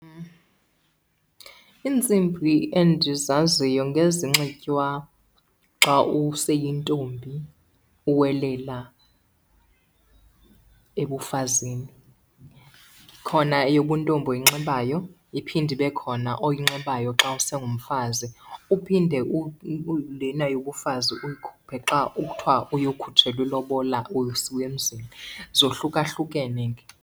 Iintsimbi endizaziyo ngezinxitywa xa useyintombi uwelela ebufazini. Khona eyobuntombi oyinxibayo iphinde ibe khona oyinxibayo xa usengumfazi. Uphinde lena yobufazi uyikhuphe xa kuthiwa uyokhutshelwa ilobola usiwa emzini, zohlukahlukene ke.